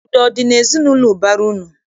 Udo ọ dị n'ezinaụlọ ụbara unu?